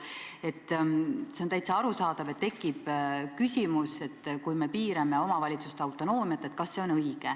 See on arusaadav, et tekib küsimus, et kui me piirame omavalitsuste autonoomiat, siis kas see on õige.